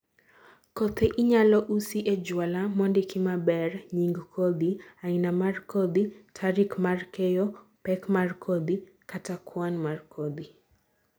kothe inyalo usi e juala mondiki maber nying kodhi ,aina mar kodhi, tarik mar keyo, pek mar kodhi kata kwan mar kodhi